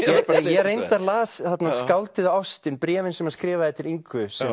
ég reyndar las skáldið og ástin bréfin sem hann skrifaði til Ingu